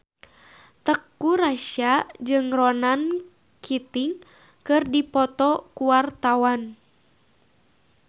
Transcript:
Teuku Rassya jeung Ronan Keating keur dipoto ku wartawan